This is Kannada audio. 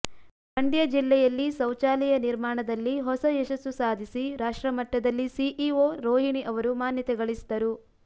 ಮಂಡ್ಯ ಜಿಲ್ಲೆಯಲ್ಲಿ ಶೌಚಾಲಯ ನಿರ್ಮಾಣದಲ್ಲಿ ಹೊಸ ಯಶಸ್ಸು ಸಾಧಿಸಿ ರಾಷ್ಟ್ರಮಟ್ಟದಲ್ಲಿ ಸಿಇಒ ರೋಹಿಣಿ ಅವರು ಮಾನ್ಯತೆ ಗಳಿಸಿದರು